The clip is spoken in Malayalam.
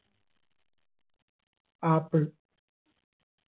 ആപ്പിൾ